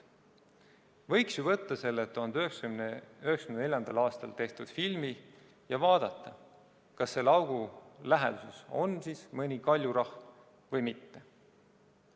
Võiks ju võtta selle 1994. aastal tehtud filmi ja vaadata, kas selle augu läheduses on mõni kaljurahn või mitte.